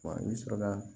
Wa ne sɔrɔla